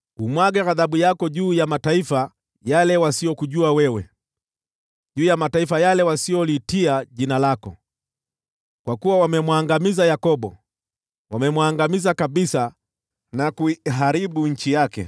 Umwage ghadhabu yako juu ya mataifa wasiokujua wewe, juu ya mataifa wasioliitia jina lako. Kwa kuwa wamemwangamiza Yakobo; wamemwangamiza kabisa na kuiharibu nchi yake.